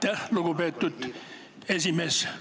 Aitäh, lugupeetud esimees!